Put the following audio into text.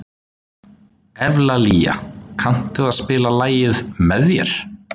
Evlalía, kanntu að spila lagið „Með þér“?